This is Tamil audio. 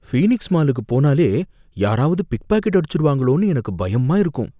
ஃபீனிக்ஸ் மாலுக்கு போனாலே யாராவது பிக்பாக்கெட் அடிச்சுருவாங்களோனு எனக்கு பயமாக இருக்கும்.